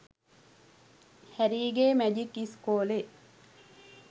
හැරීගේ magic ඉස්කෝලේ